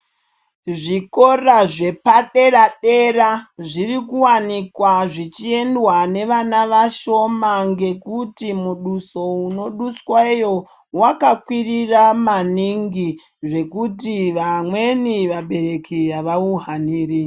Zvikora zvepadera-dera zviri kuwanikwa zvichiendwa nevana vashoma ngekuti muduso unodusweyo wakakwirira maningi zvekuti vamweni vabereki havauhaniri.